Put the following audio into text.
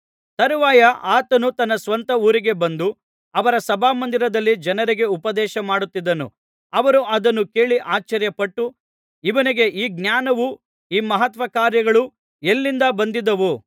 ತರುವಾಯ ಆತನು ತನ್ನ ಸ್ವಂತ ಊರಿಗೆ ಬಂದು ಅವರ ಸಭಾಮಂದಿರದಲ್ಲಿ ಜನರಿಗೆ ಉಪದೇಶಮಾಡುತ್ತಿದ್ದನು ಅವರು ಅದನ್ನು ಕೇಳಿ ಆಶ್ಚರ್ಯ ಪಟ್ಟು ಇವನಿಗೆ ಈ ಜ್ಞಾನವೂ ಈ ಮಹತ್ಕಾರ್ಯಗಳೂ ಎಲ್ಲಿಂದ ಬಂದಿದ್ದಾವು